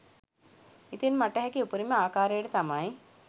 ඉතින් මට හැකි උපරිම ආකාරයට තමයි